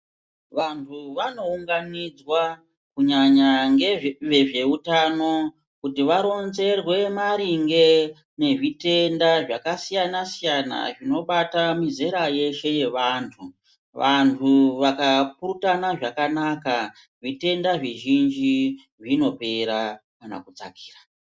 Vanhu vanounganidzwa kunyanya vezveutano kuti varonzerwe maringe ngezvitenda zvakasiyansiyana zvinobata mizera yeshe yevanhu ,vanhu vakapurutana zvakanaka zvitenda zvizhinji zveshe zvinopera kana kudzakira.